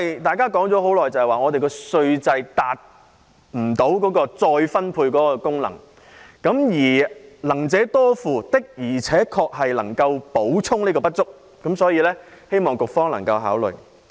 大家都說現時稅制未能發揮再分配的功能，而"能者多付"的確能夠填補不足，所以，希望局方能夠考慮。